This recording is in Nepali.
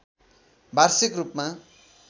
वार्षिक रूपमा